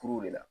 Kuruw de la